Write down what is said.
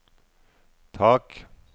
tak